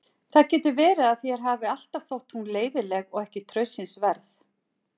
Það getur verið að þér hafi alltaf þótt hún leiðinleg og ekki traustsins verð.